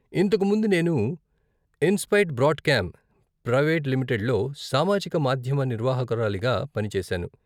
ఇంతకు ముందు నేను ఇన్సైట్ బ్రాండ్కామ్ ప్రవేట్ లిమిటెడ్లో సామాజిక మాధ్యమ నిర్వాహకురాలిగా పని చేశాను.